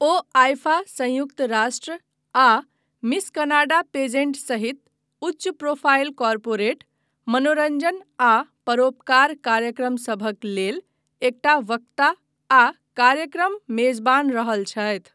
ओ IIFA, संयुक्त राष्ट्र आ मिस कनाडा पेजेंट सहित उच्च प्रोफाइल कॉर्पोरेट, मनोरञ्जन आ परोपकार कार्यक्रमसभक लेल एकटा वक्ता आ कार्यक्रमक मेजबान रहल छथि।